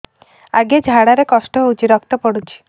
ଅଜ୍ଞା ଝାଡା ରେ କଷ୍ଟ ହଉଚି ରକ୍ତ ପଡୁଛି